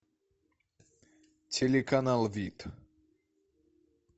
телеканал вид